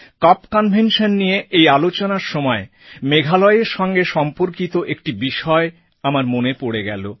কপ convention নিয়ে এই আলোচনার সময় মেঘালয়ের সঙ্গে সম্পর্কিত একটি বিষয় আমার মনে পড়ে গেল